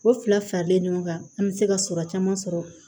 O fila fila bɛ ɲɔgɔn kan an bɛ se ka sɔrɔ caman sɔrɔ